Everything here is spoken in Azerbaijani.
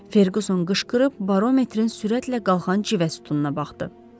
Ferquson qışqırıb barometrin sürətlə qalxan cüvə sütununa baxdı.